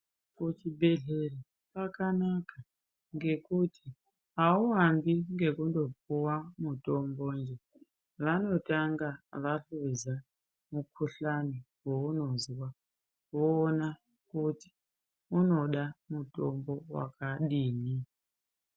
Kuchibhedhlera kwakanaka ngekuti hauambi ngekundopiwa mutombonje, vanotanga vahluza mukhuhlane weunozwa voona kuti unoda mutombo wakadini.